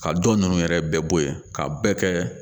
Ka dɔ ninnu yɛrɛ bɛɛ bɔ yen ka bɛɛ kɛ